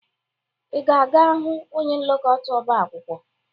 Ị ga-aga hụ onye nlekọta ọbaakwụkwọ?